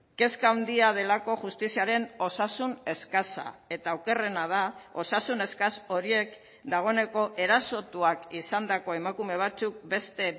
kezka handia delako justiziaren osasun eskasa eta okerrena da osasun eskas horiek dagoeneko erasotuak izandako emakume batzuk beste